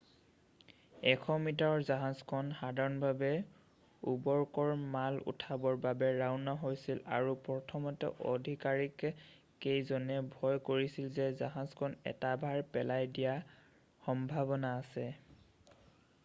100 মিটাৰৰ জাহাজখন সাধাৰণভাৱে উৰ্বৰকৰ মাল উঠাবৰ বাবে ৰাওনা হৈছিল আৰু প্ৰথমতে আধিকাৰীক কেইজনে ভয় কৰিছিল যে জাহাজখন এটা ভাৰ পেলাই দিয়াৰ সম্ভাৱনা আছে